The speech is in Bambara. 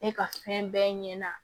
Ne ka fɛn bɛɛ ɲɛna